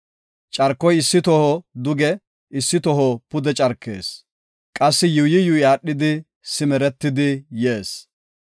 Carkoy issi toho duge issi toho pude carkees; qassi yuuyi yuuyi aadhidi, simeretidi yees.